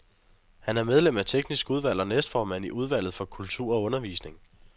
Han er medlem af teknisk udvalg og næstformand i udvalget for kultur og undervisning.